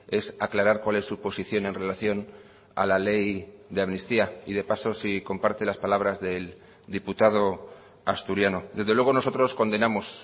es aclarar cuál es su posición en relación a la ley de amnistía y de paso si comparte las palabras del diputado asturiano desde luego nosotros condenamos